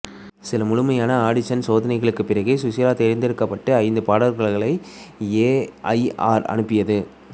சில முழுமையான ஆடிஷன் சோதனைகளுக்குப் பிறகு சுஷீலா தேர்ந்தெடுக்கப்பட்ட ஐந்து பாடகர்களை ஏ ஐ ஆர் அனுப்பியது